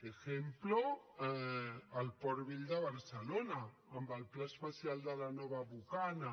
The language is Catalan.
ejemplo el port vell de barcelona amb el pla especial de la nova bocana